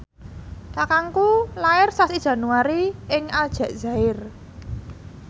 kakangku lair sasi Januari ing Aljazair